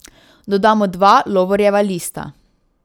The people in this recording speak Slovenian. Dodamo dva lovorjeva lista.